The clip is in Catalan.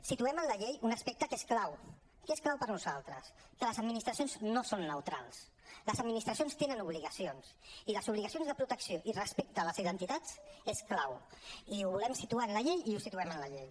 situem en la llei un aspecte que és clau que és clau per nosaltres que les administracions no són neutrals les administracions tenen obligacions i les obligacions de protecció i respecte a les identitats és clau i ho volem situar en la llei i ho situem en la llei